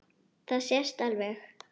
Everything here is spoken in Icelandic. Það sést alveg.